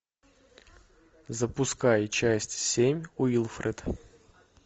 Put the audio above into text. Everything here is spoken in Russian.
запускай часть семь уилфред